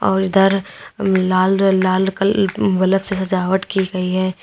और इधर लाल लाल कल ब्लैक से सजावट की गई है।